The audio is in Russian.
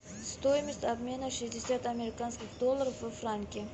стоимость обмена шестьдесят американских долларов во франки